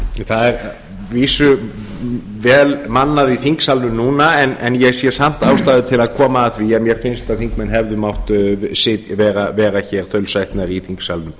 það er að vísu vel mannað í þingsalnum núna en ég sé samt ástæðu til að koma að því að mér finnst að þingmenn hefðu mátt vera hér þaulsætnari í þingsalnum